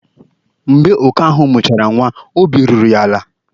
Mgbe oke ahụ mụchara nwa, obi ruru ya ala.